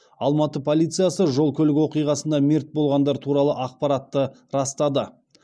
алматы полициясы жол көлік оқиғасында мерт болғандар туралы ақпаратты растады